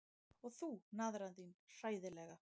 Og þú, naðran þín, hræðilega.